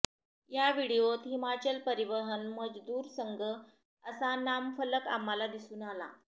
या व्हिडिओत हिमाचल परिवहन मजदुर संघ असा नामफलक आम्हाला दिसून आला